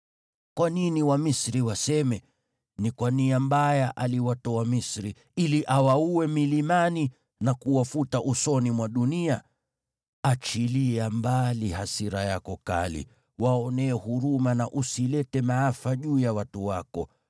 Kwa nini Wamisri waseme, ‘Ni kwa nia mbaya aliwatoa Misri, ili awaue milimani na kuwafuta usoni mwa dunia’? Achilia mbali hasira yako kali, waonee huruma na usilete maafa juu ya watu wako.